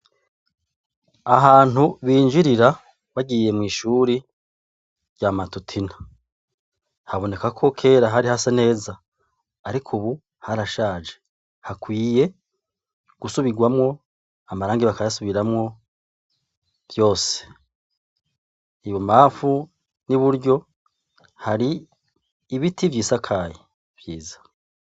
Ahantu binjirira bagiye mw'ishuri rya matutina haboneka ko kera hari hase neza ariko ubu harashaje hakwiye gusubigwamwo amarangi bakayasubiramwo byose ibo mpafu n'iburyo hari ibiti vy'isakaye vyiza.